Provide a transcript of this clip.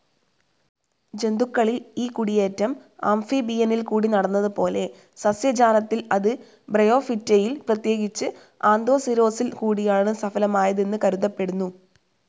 ജന്തുക്കളിൽ ഈ കുടിയേറ്റം ആംഫിബിയനിൽകൂടി നടന്നതുപോലെ, സസ്യജാലത്തിൽ അത് ബ്രയോഫിറ്റയിൽ, പ്രതേകിച്ചു ആന്തോസിരോസ്സിൽ കൂടിയാണ് സഫലമായതെന്നു കരുതപ്പെടുന്നു.